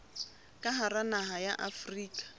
ka hara naha ya afrika